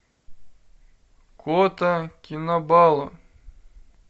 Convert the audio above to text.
кота кинабалу